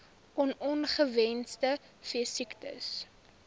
on ongewenste veesiektes